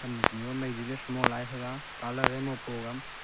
nun nu maizi ley semo lai te ga colour e mo pa ga.